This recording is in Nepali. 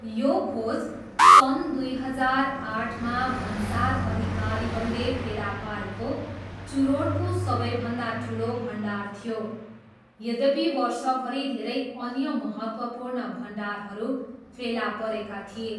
यो खोज सन् दुई हजार आठमा भन्सार अधिकारीहरूले फेला पारेको चुरोटको सबैभन्दा ठुलो भण्डार थियो, यद्यपि वर्षभरि धेरै अन्य महत्त्वपूर्ण भण्डारहरू फेला परेका थिए।